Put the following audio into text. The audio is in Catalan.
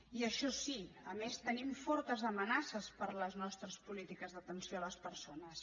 i això sí a més tenim fortes amenaces per les nostres polítiques d’atenció a les persones